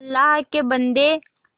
अल्लाह के बन्दे